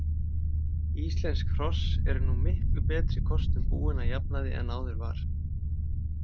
Íslensk hross eru nú miklu betri kostum búin að jafnaði en áður var.